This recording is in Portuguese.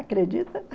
Acredita?